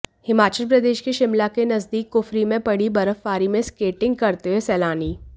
हिमाचल प्रदेश के शिमला के नजदीक कुफरी में पड़ी बर्फबारी में स्केटिंग करते हुए सैलानी